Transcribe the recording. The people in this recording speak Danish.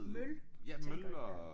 Møl tænker jeg